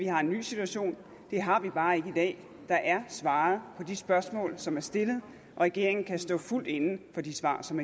har en ny situation det har vi bare ikke i dag der er svaret på de spørgsmål som er stillet regeringen kan stå fuldt inde for de svar som